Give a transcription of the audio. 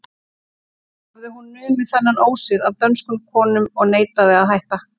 Hafði hún numið þennan ósið af dönskum konum og neitaði að hætta.